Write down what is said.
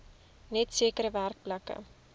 net sekere werkplekke